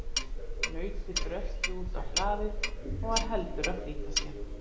Nautið brölti út á hlaðið og var heldur að flýta sér.